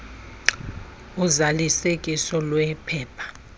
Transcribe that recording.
uzalisekiso lweli phepha